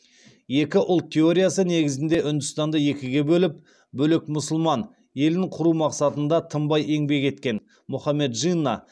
екі ұлт теориясы негізінде үндістанды екіге бөліп бөлек мұсылман елін құру мақсатында тынбай еңбек еткен мұхаммед джинна